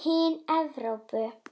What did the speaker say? Hin Evrópu